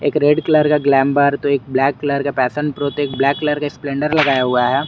Red colour का glamour तो एक ब्लैक कलर का पैशन प्रो तो एक ब्लैक कलर का स्प्लेंडर लगाया हुआ है।